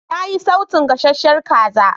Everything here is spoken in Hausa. Na yi sautun gasasshiyar kaza.